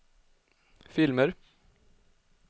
filmer